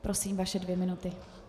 Prosím, vaše dvě minuty.